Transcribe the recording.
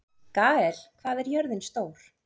Gael, hvað er jörðin stór?